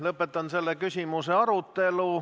Lõpetan selle küsimuse arutelu.